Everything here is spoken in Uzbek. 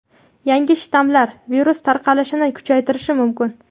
yangi shtammlar virus tarqalishini kuchaytirishi mumkin.